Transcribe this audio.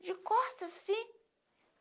De costas, assim.